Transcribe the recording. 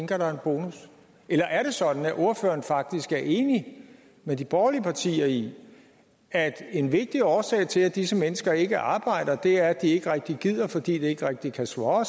der en bonus eller er det sådan at ordføreren faktisk er enig med de borgerlige partier i at en vigtig årsag til at disse mennesker ikke arbejder er at de ikke rigtig gider fordi det ikke rigtig kan swåre